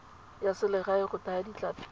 ya selegae go thaya ditlhapi